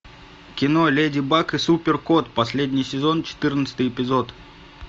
кино леди баг и супер кот последний сезон четырнадцатый эпизод